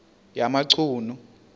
yamachunu